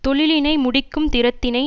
தொழிலினை முடிக்கும் திறத்தினை